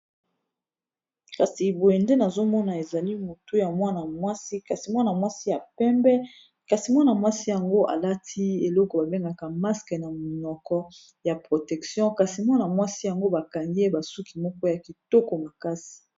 kasi boye nde nazomona ezali motu ya mwana mwasi kasi mwana mwasi ya pembe kasi mwana mwasi yango alati eloko babengaka maske na monoko ya protection kasi mwana mwasi yango bakangi y basuki moko ya kitoko makasi